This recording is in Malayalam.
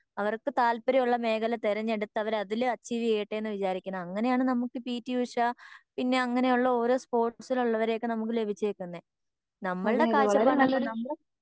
അവർക്ക് താല്പര്യമുള്ള മേഖല തിരഞ്ഞെടുത്ത് അവര് അതില് അച്ചീവ് ചെയ്യട്ടെന്ന് വിചാരിക്കണ അങ്ങിനെയാണ് നമുക്ക് പി ടി ഉഷ പിന്നെ അങ്ങിനെയുള്ള ഓരോ സ്പോർട്സിൽ ഉള്ളവരെ ഒക്കെ നമുക്ക് ലഭിച്ചേക്കുന്നേ നമ്മളുടെ കാഴച്ചപ്പാടിനൊപ്പം നമ്മള്